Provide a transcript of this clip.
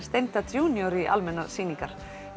steinda Jr í almennar sýningar